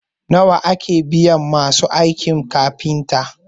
nawa ake biyan masu aikin kafinta?